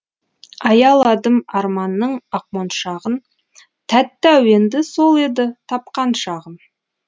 аяладым арманның ақмоншағын тәтті әуенді сол еді тапқан шағым